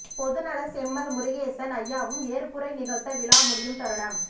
பொதுநலச் செம்மல் முருகேசன் ஐயாவும் ஏற்புரை நிகழ்த்த விழா முடியும் தருணம்